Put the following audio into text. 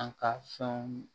An ka fɛnw